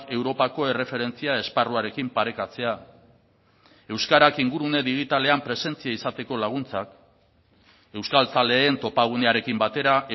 europako erreferentzia esparruarekin parekatzea euskarak ingurune digitalean presentzia izateko laguntzak euskaltzaleen topagunearekin batera